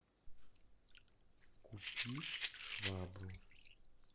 купи швабру